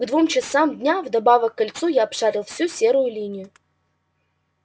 к двум часам дня вдобавок к кольцу я обшарил всю серую линию